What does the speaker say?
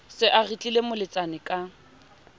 se a retlile moletsane ka